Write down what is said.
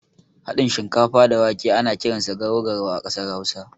Haɗin shinkafa da wake ana kiransa garau garau a ƙasar hausa.